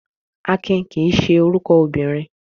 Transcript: Akin kì í ṣe orúkọ obìnrin.